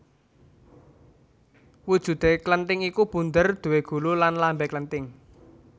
Wujudé klenthing iku bunder duwé gulu lan lambé klenthing